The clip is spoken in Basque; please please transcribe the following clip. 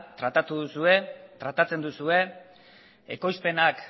tratatzen duzue ekoizpenak